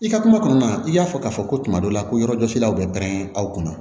I ka kuma kɔnɔna na i y'a fɔ k'a fɔ ko tuma dɔ la ko yɔrɔjɔsilaw bɛ pɛrɛn aw kunna